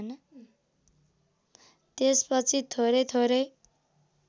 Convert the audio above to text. त्यसपछि थोरै थोरै